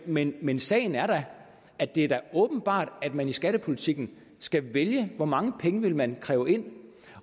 men men sagen er at det da er åbenbart at man i skattepolitikken skal vælge hvor mange penge man vil kræve ind